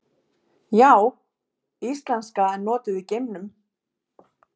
Já, íslenska er notuð í geimnum!